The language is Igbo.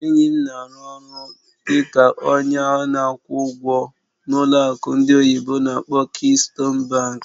Enyi m na-arụ ọrụ dị ka onye na-akwụ ụgwọ n'ụlọ akụ ndị oyibo n'akpọ "Keystone Bank".